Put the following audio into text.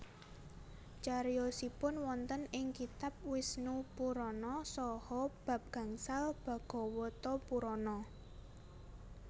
Cariyosipun wonten ing kitab Wisnupurana saha bab gangsal Bhagawatapurana